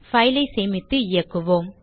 file ஐ சேமித்து இயக்குவோம்